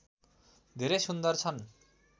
धेरै सुन्दर छन्